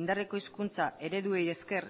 indarreko hizkuntza ereduei ezker